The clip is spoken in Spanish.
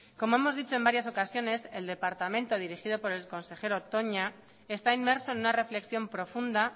como hemos dicho en varias ocasiones el departamento dirigido por el con el consejero toña está inmerso en una reflexión profunda